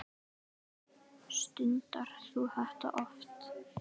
Þar voru haldin böll.